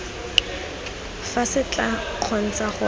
fa se tla kgontsha gore